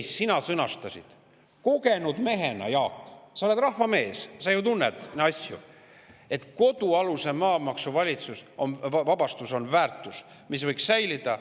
Ja sina sõnastasid kogenud mehena, Jaak – sa oled rahvamees, sa ju tunned asju –, et kodualuse maa maksuvabastus on väärtus, mis võiks säilida.